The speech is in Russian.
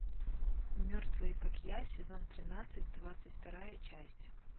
мертвые как я сезон тринадцать двадцать вторая часть